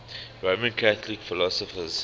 roman catholic philosophers